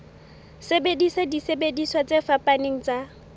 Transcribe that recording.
sebedisa disebediswa tse fapaneng tsa